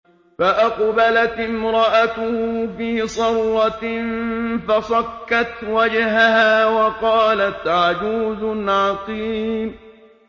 فَأَقْبَلَتِ امْرَأَتُهُ فِي صَرَّةٍ فَصَكَّتْ وَجْهَهَا وَقَالَتْ عَجُوزٌ عَقِيمٌ